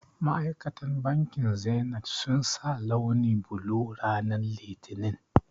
Ma'aikatan bankin zenith sun sa launi blue ranan litinin